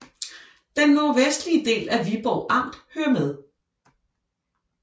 Den nordvestlige del af Viborg Amt hører med